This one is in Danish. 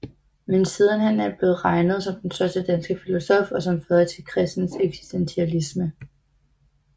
Men sidenhen er han blevet regnet som den største danske filosof og som fader til kristen eksistentialisme